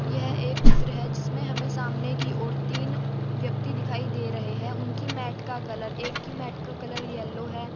यह एक चित्र है जिसमें हमें सामने की ओर तीन व्यक्ति दिखाई दे रहे हैं उनके मैट का कलर एक की मैट का कलर येलो है।